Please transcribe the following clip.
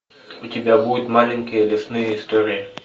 у тебя будет маленькие лесные истории